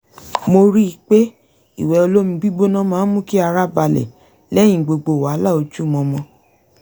mo ríi pé ìwẹ̀ olómi gbígbóná máa ń mú kí ara balẹ̀ lẹ́yìn gbogbo wàhálà ojúmọmọ